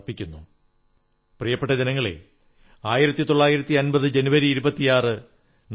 കലാം സാഹിബിന്റെ ഈ കവിത ശ്രീ ശ്രീ ശ്രീ ശിവകുമാരസ്വാമിജിയുടെ ജീവിതത്തിന്റെയും സിദ്ധഗംഗാ മഠത്തിന്റെയും ദൌത്യത്തെ സുന്ദരമായി അവതരിപ്പിക്കുന്നു